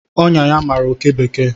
Ọnyá ya mara oké bekee